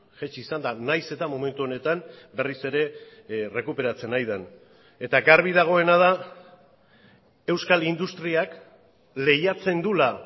jaitsi izan da nahiz eta momentu honetan berriz ere errekuperatzen ari den eta garbi dagoena da euskal industriak lehiatzen duela